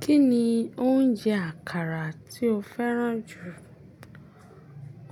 Kí ni oúnjẹ àkàrà tí o fẹ́ràn jù?